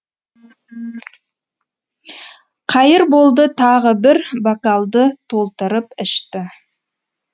қайырболды тағы бір бокалды толтырып ішті